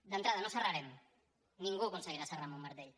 d’entrada no serrarem ningú aconseguirà serrar amb un martell